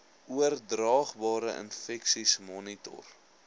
oordraagbare infeksies monitor